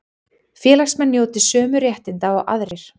Félagsmenn njóti sömu réttinda og aðrir